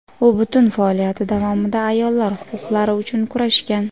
U butun faoliyati davomida ayollar huquqlari uchun kurashgan.